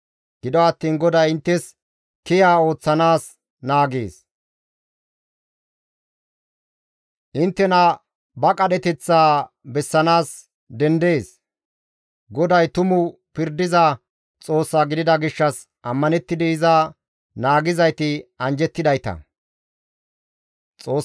Gido attiin GODAY inttes kiya ooththanaas naagees; inttena ba qadheteththa bessanaas dendees; GODAY tumu pirdiza Xoossa gidida gishshas ammanettidi iza naagizayti anjjettidayta.